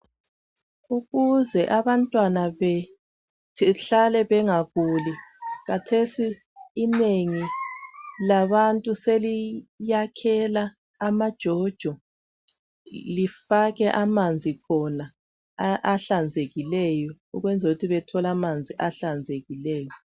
Ukuze abantwana behlale bengaguli kathesi inengi labantu seliyakhela amajojo lifake amanzi khona ahlanzekileyo ukwenzela ukuthi bethole amanzi ahlanzekileyo